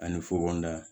Ani fukonkonda